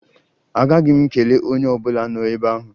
Aghaghị m ikele onye ọ bụla nọ ebe ahụ.